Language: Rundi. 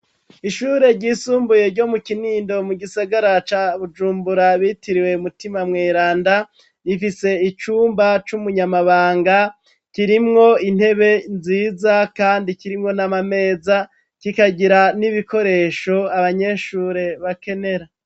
Ishure ryisumbuye ryo mu kinindo mu gisagara ca Bujumbura bitiriwe Mutima Mweranda. Rifise icumba c'umunyamabanga kirimwo intebe nziza kandi kirimwo n'amameza kikagira n'ibikoresho abanyeshure bakenera.